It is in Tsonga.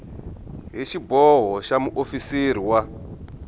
hi xiboho xa muofisiri wa